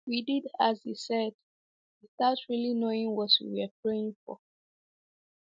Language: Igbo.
We did as he said, without really knowing what we were praying for.